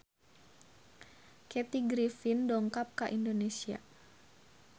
Kathy Griffin dongkap ka Indonesia